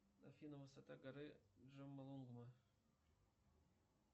афина высота горы джомолунгма